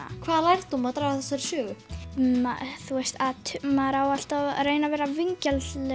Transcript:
hvaða lærdóm má draga af þessari sögu að maður á alltaf að reyna að vera vingjarnlegur